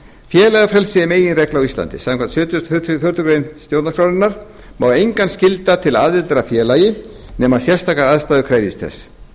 félagafrelsi er meginregla á íslandi samkvæmt sjötugasta og fjórðu grein stjórnarskrárinnar má engan skylda til aðildar að félagi nema sérstakar aðstæður krefjist þess